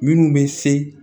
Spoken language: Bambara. Minnu bɛ se